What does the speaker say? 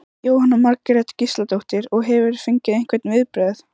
Jóhanna Margrét Gísladóttir: Og hefurðu fengið einhver viðbrögð?